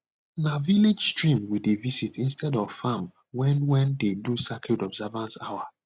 na village stream we dey visit instead of farm when wen dey do sacred observance hour